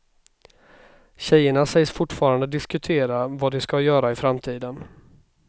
Tjejerna sägs fortfarande diskutera vad de ska göra i framtiden.